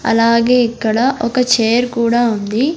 అలాగే ఇక్కడ ఒక చైర్ కూడా ఉంది.